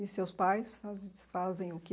E seus pais faz fazem o quê?